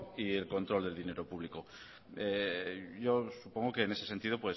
y el control del dinero público yo supongo que en ese sentido